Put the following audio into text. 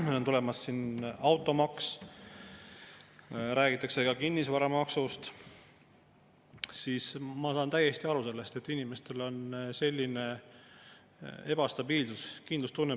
See, et eelnõudega tullakse menetlusse ükshaaval ja need läbivad komisjoni mõistlik töökorraldus, ongi mõistlik ja õige käitumine, mitte nii, et keegi peaks olema selle eest kuidagi tänulik, et on olemas valitsus, kes suvatseb opositsiooni survel eelnõud paketist lahti võtta ja nendega ükshaaval tulla.